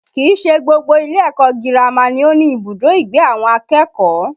Kìí ṣe gbogbo ilé ẹ̀kọ́ girama ni ó ní ibùdó ìgbé àwọn akẹ́kọ̀ọ́